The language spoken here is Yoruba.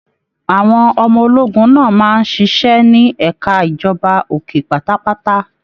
Àwọn ọmọ ológun náà máa n ṣiṣẹ ní ẹka ìjọba òkè pátápátá.